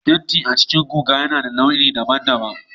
Fenti a cikin guga yana da launi daban-daban